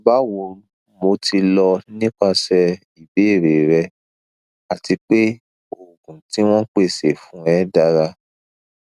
bawo mo ti lọ nipasẹ ibeere rẹ ati pe oogun ti won pese fun e dara